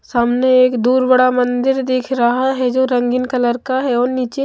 सामने एक दूर बड़ा मंदिर दिख रहा हैजो रंगीन कलर का है और नीचे--